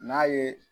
N'a ye